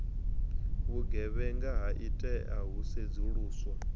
vhugevhenga ha itea hu sedzuluswa